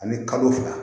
Ani kalo fila